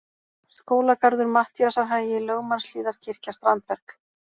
Skólagarður, Matthíasarhagi, Lögmannshlíðarkirkja, Strandberg